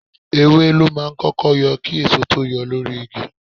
Ewé ló máa ń kọ́kọ́ yọ kí èso tó yọ lórí igi.